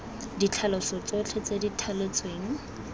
ditlhaloso tsotlhe tse di thaletsweng